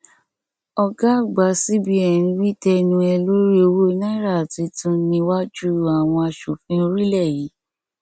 ọgá àgbà cbn wí tẹnu ẹ lórí owó náírà tuntunniwájú àwọn asòfin orílẹ yìí